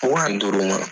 Wa ni duuru ma